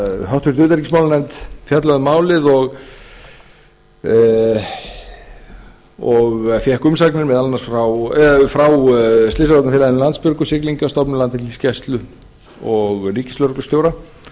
nefndin hefur fjallað um málið og fékk umsagnir bárust um málið frá slysavarnafélaginu landsbjörgu siglingastofnun landhelgisgæslu íslands og ríkislögreglustjóranum